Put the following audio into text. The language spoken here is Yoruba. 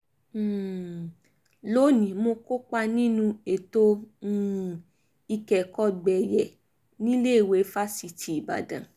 um lónìí mo kópa nínú ètò um ìkẹ́kọ̀ọ́gbeyè níléèwé fáṣítì ìbàdàn